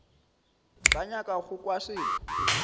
sa nyaka go kwa selo